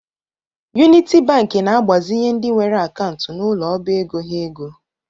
Uniti Banki na-agbazinye ndị nwere akantu n’ụlọ ọbaego ha ego